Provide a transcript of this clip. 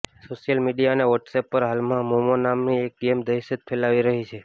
social media અને WhatsApp પર હાલમાં મોમો નામની એક ગેમ દહેશત ફેલાવી રહી છે